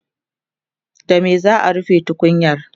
da me za'a rufe tukunyar?